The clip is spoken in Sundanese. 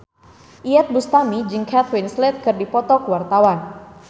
Iyeth Bustami jeung Kate Winslet keur dipoto ku wartawan